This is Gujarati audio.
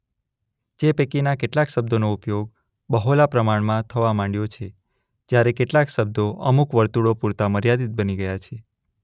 જે પૈકીના કેટલાક શબ્દોનો ઉપયોગ બહોળા પ્રમાણમાં થવા માંડ્યો છે; જ્યારે કેટલાક શબ્દો અમુક વર્તુળો પૂરતા મર્યાદિત બની ગયા છે.